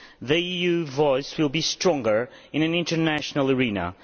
The EU voice will be stronger in an international arena.